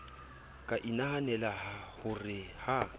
ka inahanela ho re ha